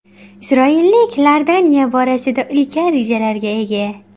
Isroilliklar Iordaniya borasida ulkan rejalarga ega.